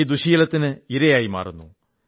ഈ ദുഃശ്ശീലത്തിന് ഇരയായി മാറുന്നു